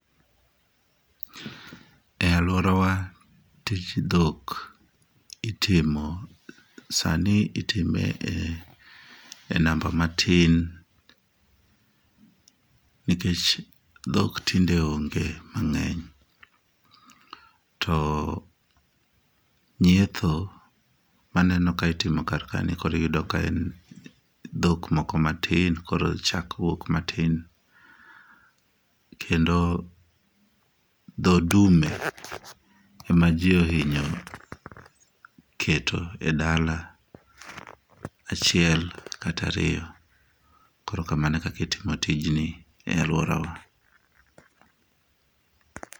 E aluorawa tij dhok itimo sani itime e namba matin nikech dhok tinde onge mang'eny. To nyietho maneno ka itimo kar kae ni kori yudo ka en dhok moko matin koro chak wuok matin , kendo dho dume ema jii ohinyo keto e dala achiel kata ariyo. Koro kamano e kaka itimo tij ni e aluorawa.